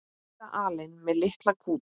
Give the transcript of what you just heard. Linda alein með litla kút.